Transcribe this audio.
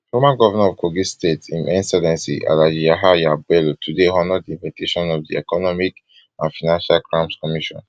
former governor of kogi state im excellency alhaji yahaya bello today honour di invitation of di economic and financial crimes commission